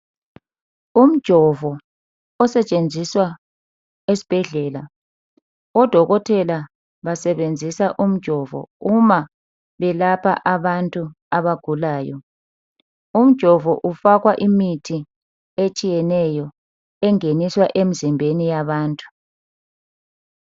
Umjovo osetshenziswa esibhedlela .Odokotela basebenzisa umjovo uma belapha abantu abagulayo .Umjovo ufakwa imithi etshiyeneyo engeniswa emzimbeni yabantu.